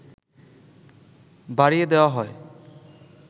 বাড়িয়ে দেওয়া হয়